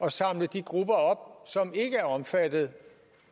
at samle de grupper som ikke er omfattet